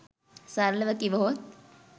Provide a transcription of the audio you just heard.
සරලව කිවහොත්